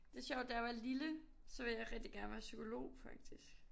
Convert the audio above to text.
Det sjovt da jeg var lille så ville jeg rigtig gerne være psykolog faktisk